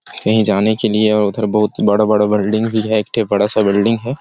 कहीं जाने के लिए और उधर बहुत बड़ा - बड़ा बिल्डिंग भी है एक ठो बड़ा सा बिल्डिंग है।